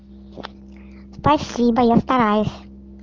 спасибо я стараюсь